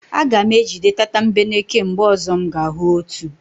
Aga m ejide tatambeneke mgbe ọzọ m ga-ahụ otu.